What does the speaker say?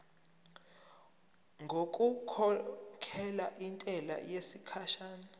ngokukhokhela intela yesikhashana